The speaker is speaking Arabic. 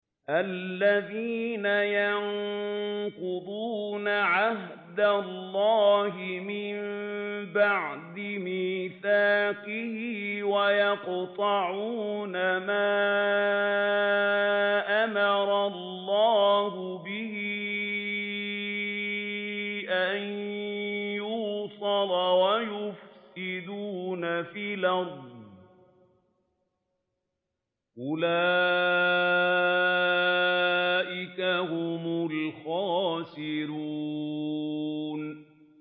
الَّذِينَ يَنقُضُونَ عَهْدَ اللَّهِ مِن بَعْدِ مِيثَاقِهِ وَيَقْطَعُونَ مَا أَمَرَ اللَّهُ بِهِ أَن يُوصَلَ وَيُفْسِدُونَ فِي الْأَرْضِ ۚ أُولَٰئِكَ هُمُ الْخَاسِرُونَ